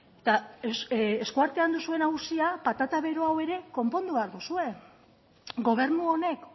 eta eskuartean duzuen auzia patata bero hau ere konpondu behar duzue gobernu honek